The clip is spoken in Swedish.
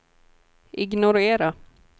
ignorera